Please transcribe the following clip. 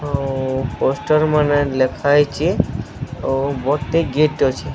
ଆଉ ପୋଷ୍ଟର ମାନେ ଲେଖା ହେଇଚି ଆଉ ଗୋଟେ ଗେଟ୍ ଅଛି।